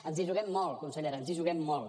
ens hi juguem molt consellera ens hi juguem molt